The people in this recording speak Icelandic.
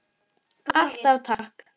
Alltaf takk.